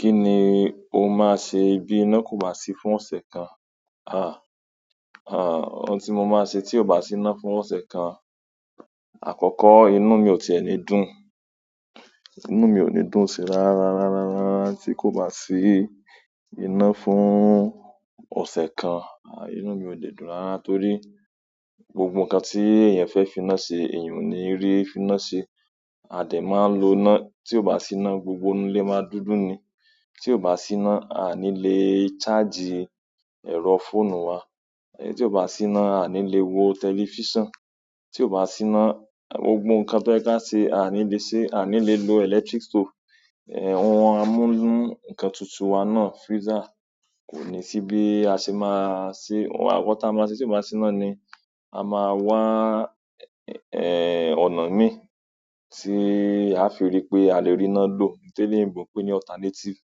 Kini o ma se bi ina ko ba si fún ose kan? À, à ohun tí mo máa ṣe tí ò bá sí ìná fún ọ̀sẹ̀ kan, àkọ́kọ́ inú mi ò tí ẹ ní dùn. Inú mi ò ní dùn sí rarararara tí kò bá sí ìnà fún ọ̀sẹ̀ kan. À inú mi ò lè dùn rárá torí gbogbo nǹkan tí èèyàn fẹ́ finá ṣe èèyàn ò ní rí finá ṣe. A de maa n lo ina. Ti o ba si ina gbogbo inú ile ma dúdú ni tí ò bá sí iná a ní lè charge ẹ̀rọ fóònù wa. Tí ò bá sí iná a ní lè wo tẹlifíṣàn. Tí ò bá sí iná gbogbo nǹkan tó yẹ ká ṣe a ní lè ṣe. A ní lè lo electric stove, eh wọn amúnù nǹkan tutù wa náà freezer kò ní sí bí a ṣe máa ṣe. Nkan ta máa ṣe tí kò bá sí iná ni a máa wá ọ̀nà mi tí a fi rí pé a lè rí iná lò. Toloyinbò pé ní alternative.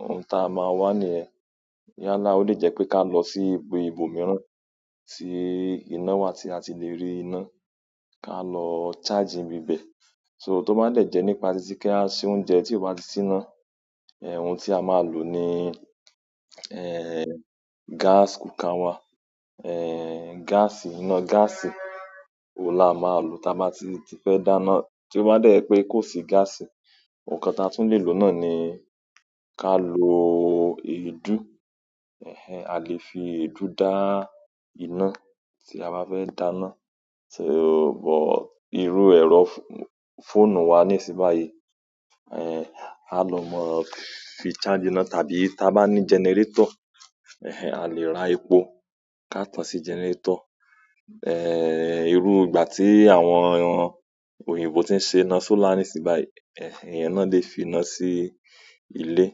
Ohun ta a máa wá ní yen. Yálà ó lè jẹ́ pé ká lọ sí ibi ibòmíràn tí iná wà tí a ti lè rí iná, ká lọ charge ńíbibẹ̀. So tó bá dẹ̀ jẹ́ nípa títí kí á se oúnjẹ tí ò bá ti sí iná, ohun tí a máa lò ni gas cooker wà. Gas, iná gáàsì oun la máa lò tí a bá ti fẹ́ dáná. Tí ó bá dẹ́ je pé kò sí gáàsì, nǹkan ta tún lè lò náà ni ká lo èédú. A lè fi èédú dá iná tí a bá fẹ́ dáná. Tí ó bọ̀, irú ẹ̀rọ fóònù wa nísìn báyìí, a lò mọ fi charge iná tàbí tí a bá ní gẹnẹrétọ̀, a lè ra epo ká tan sí gẹnẹrétọ̀. Irú ìgbà tí àwọn òyìnbó tí ń ṣe iná sọ́là nísìn báyìí, ìyẹn náà lè fi iná sí ilé.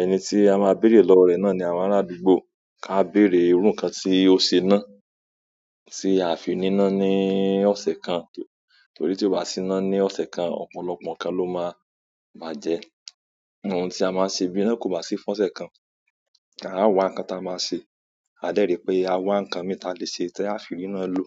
Ẹni tí a máa bèrè lọ́wọ́ rẹ náà ni àwọn ará àdúgbò ká bèrè irú nǹkan tí ó ṣe iná tí a fi ní iná ní ọ̀sẹ̀ kan. Torí tí ò bá sí iná ní ọ̀sẹ̀ kan, ọ̀pọ̀lọpọ̀ nǹkan ló máa bàjẹ́. Ohun tí a máa ṣe bí iná kò bá sí fún ọ̀sẹ̀ kan, ká wá nǹkan ta a máa ṣe. A dẹ̀ rí pé a wá nǹkan min tí a lè ṣe tí a fi riná lò.